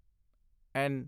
ਐਨ